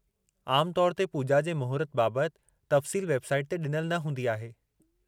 आमु तौर ते पूॼा जे मुहूर्त बाबतु तफ़्सील वेबसाइट ते ॾिनल न हूंदी आहे।